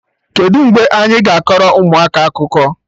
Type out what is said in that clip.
Kedụ mgbe anyị ga-akọrọ ụmụaka akụkọ?